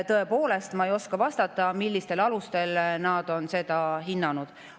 Tõepoolest, ma ei oska vastata, millistel alustel on seda hinnatud.